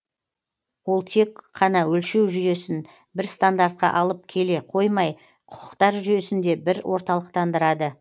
ол тек қана өлшеу жүйесін бір стандартқа алып келе қоймай құқықтар жүйесін де бір орталықтандырады